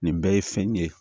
Nin bɛɛ ye fɛn ye